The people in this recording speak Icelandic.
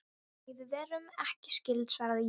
Nei, við erum ekki skyld, svaraði ég.